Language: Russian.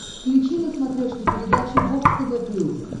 включи на смотрешке передачу бокс тв плюс